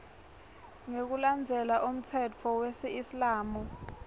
ngekulandzela umtsetfo wesiislamu